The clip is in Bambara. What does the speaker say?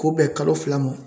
K'u bɛn kalo fila ma